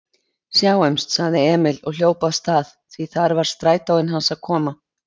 Sjáumst, sagði Emil og hljóp af stað, því þar var strætóinn hans að koma.